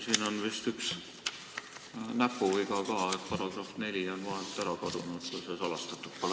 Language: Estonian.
Siin on vist üks näpuviga ka –§ 4 on vahelt ära kadunud, kui see salastatud pole.